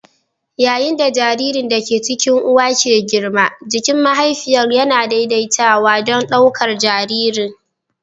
Yayin da jaririn da ke cikin uwa ke girma, jikin mahaifiyar yana daidaitawa don ɗaukar jariri.